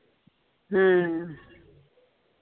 ਹਮ